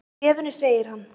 Í bréfinu segir hann: